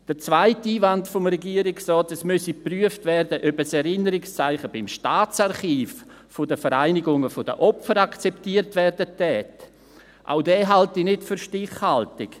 Den zweiten Einwand des Regierungsrates, es müsse geprüft werden, ob ein Erinnerungszeichen beim Staatsarchiv von den Vereinigungen der Opfer akzeptiert würde, halte ich auch nicht für stichhaltig.